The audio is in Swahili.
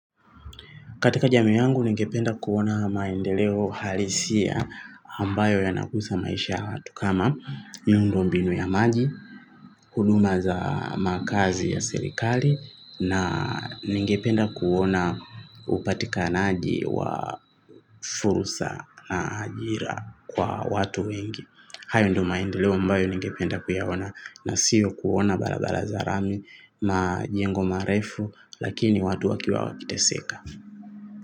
Katika jamii yangu ningependa kuona maendeleo halisia ambayo yanakuza maisha ya watu kama miundo mbinu ya maji, huduma za makazi ya serikali na ningependa kuona upatikanaji wa fursa na ajira kwa watu wengi. Hayo ndo maendeleo ambayo ningependa kuyaona nasio kuona barabara za lami majengo marefu lakini watu wakiwa wakiteseka.